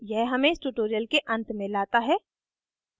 यह हमें इस tutorial के अंत में लाता है